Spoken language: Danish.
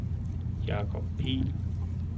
Jacob Pihl